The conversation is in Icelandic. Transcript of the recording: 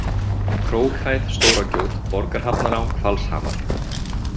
Krókhæð, Stóragjót, Borgarhafnará, Hvalshamar